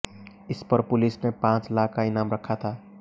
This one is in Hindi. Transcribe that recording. इस पर पुलिस ने पांच लाख का इनाम रखा था